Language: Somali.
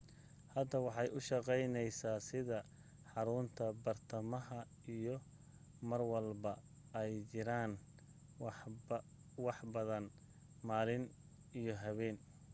hadda waxay u shaqeyneysa sida xarunta bartamaha iyo marlwalba ay jiraan waxbadan malin iyo habeen